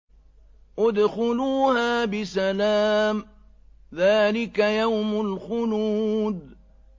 ادْخُلُوهَا بِسَلَامٍ ۖ ذَٰلِكَ يَوْمُ الْخُلُودِ